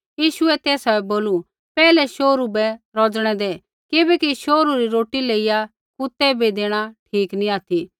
यीशुऐ तेसा बै बोलू पैहलै शोहरू बै रौज़णै दै किबैकि शोहरू री रोटी लेइया कुतै बै देणा ठीक नी ऑथि